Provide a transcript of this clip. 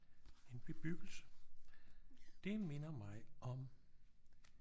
En bebyggelse det minder mig om